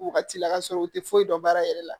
Wagati la ka sɔrɔ u tɛ foyi dɔn baara yɛrɛ la